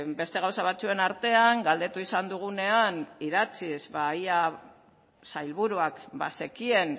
beste gauza batzuen artean galdetu izan dugunean idatziz ea sailburuak bazekien